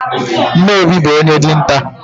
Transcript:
Nne Obi bụ onye dinta.